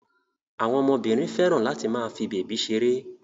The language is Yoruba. Àwọn ọmọbìnrin fẹ́ràn láti máa fi bèbí ṣeré.